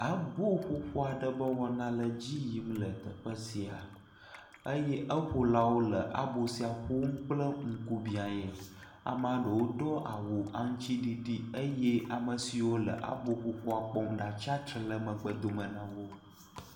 Aboƒoƒo aɖe be wɔna edzi yim le teƒe sia eye eƒolawo le abo sia ƒom kple ŋkubiae, amea ɖewo do awu aŋutiɖiɖi eye ame siwo le aboƒoƒoa kpɔm ɖa tsatsitre le megbe dome na wo.